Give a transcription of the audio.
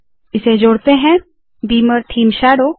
इसे जोड़ते है - बीमर थीम शैडो